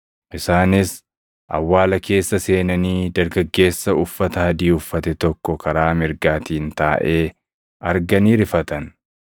Isaanis awwaala keessa seenanii dargaggeessa uffata adii uffate tokko karaa mirgaatiin taaʼee arganii rifatan.